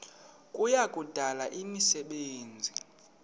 kuya kudala imisebenzi